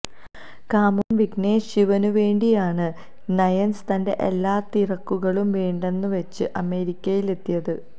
കാമുകൻ വിഘ്നേഷ് ശിവന് വേണ്ടിയാണ് നയൻസ് തന്റെ എല്ലാ തിരക്കുകളും വേണ്ടെന്ന് വെച്ച് അമേരിക്കയിൽ എത്തിയത്